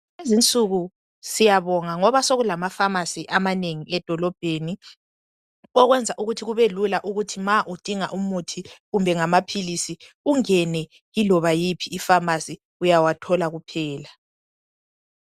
Kulezinsuku siyabonga ngoba sekulamafamasi amanengi edolobheni okwenza ukuthi kubelula ukuthi ma udinga umuthi kumbe ngamaphilisi ungene iloba yiphi ifamasi uyawathola kuphela.